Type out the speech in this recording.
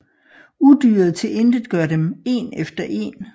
Udyret tilintetgør dem én efter én